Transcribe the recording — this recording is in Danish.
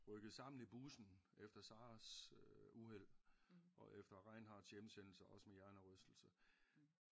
Rykket sammen i bussen efter Sarahs øh uheld og efter Reinhardts hjemsendelse også med hjernerystelse